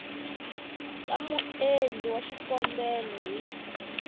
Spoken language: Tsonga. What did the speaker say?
ka muendli wa xikombelo hi